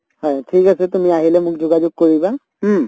ঠিক আছে তুমি আহিলে মোক যোগাযোগ কৰিবা উম